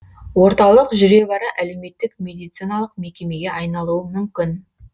орталық жүре бара әлеуметтік медициналық мекемеге айналуы мүмкін